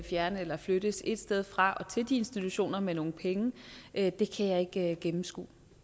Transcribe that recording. fjernes eller flyttes et sted fra og til de institutioner med nogle penge det kan jeg ikke gennemskue